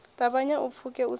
ṱavhanya u pfuke u sa